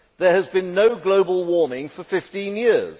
There has been no global warming for 15 years.